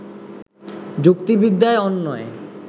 যুক্তিবিদ্যায় অন্বয়